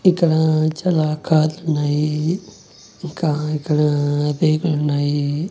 ఇక్కడ చాలా కార్లు ఉన్నాయి ఇంకా ఇక్కడ రేకులున్నాయి.